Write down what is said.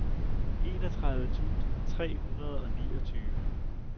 enogtredive tusind tre hundrede og niogtyve